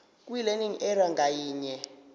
kwilearning area ngayinye